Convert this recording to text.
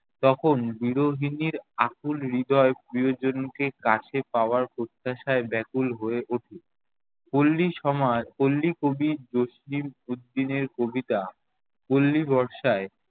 তখন বিরোহিনীর আকুল হৃদয় প্রিয়জনকে কাছে পাওয়ার প্রত্যাশায় ব্যাকুল হয়ে ওঠে। পল্লী সোমার~ পল্লী কবি জসিম-উদ্দিন এর কবিতা পল্লী বর্ষায়